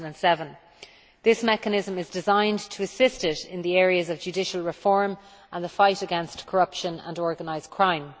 2007. This mechanism is designed to assist it in the areas of judicial reform and the fight against corruption and organised crime.